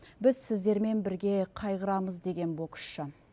біз сіздермен бірге қайғырамыз деген боксшы